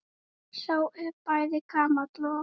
Sá er bæði gamall og.